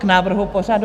K návrhu pořadu?